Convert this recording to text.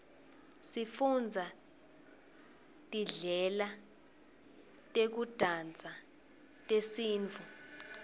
sifundza tidlela tekudansa tesintfu